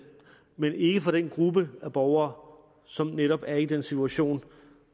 men ikke for den gruppe af borgere som netop er i den situation